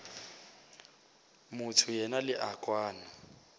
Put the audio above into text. motho yena le a kwana